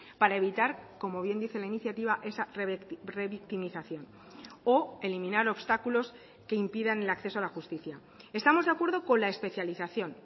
para evitar como bien dice la iniciativa esa revictimización o eliminar obstáculos que impidan el acceso a la justicia estamos de acuerdo con la especialización